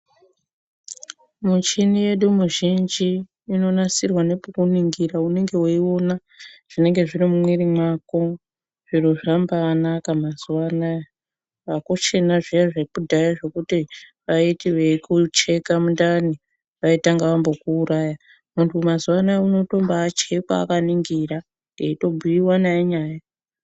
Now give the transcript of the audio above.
Muchini yedu muzhinji inonasirwa nepekuningira ,unenge weiona zvinenge zviri mumwiri mwako. Zviro zvambanaka mazuwa anaa. Akuchina zviya zvekudhaya zviyana vaiti veikucheka mundani vaitanga vakuuraya . Muntu mazuwa anaa unombaatochekwa akaningira eitobhuyiwa naye nyaya.